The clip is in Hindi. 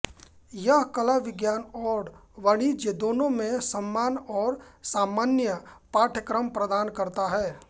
यह कला विज्ञान और वाणिज्य दोनों में सम्मान और सामान्य पाठ्यक्रम प्रदान करता है